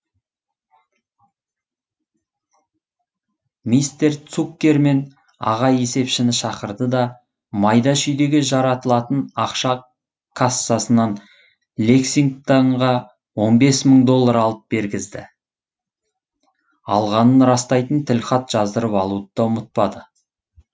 мистер цуккерман аға есепшіні шақырды да майда шүйдеге жаратылатын ақша кассасынан лексингтонға он бес мың доллар алып бергізді алғанын растайтын тілхат жаздырып алуды да ұмытпады